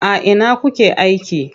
A ina kuke aiki?